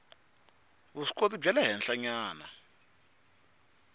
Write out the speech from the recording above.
vuswikoti bya le henhlanyana